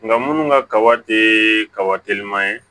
Nka minnu ka kaba tɛ kaba telima ye